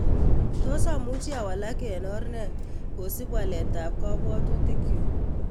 Tos amuchi awalak en or nee kosip waleetap kabwotutikyuk